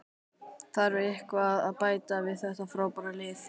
Þarf eitthvað að bæta við þetta frábæra lið?